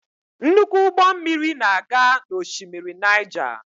Nnukwu ụgbọ mmiri na-aga n'oshimmiri Naija.